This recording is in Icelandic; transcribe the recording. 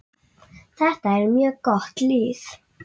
Þetta er mjög gott lið.